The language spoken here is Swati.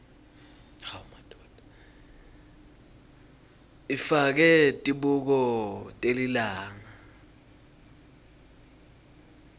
ifake tibuko telilanga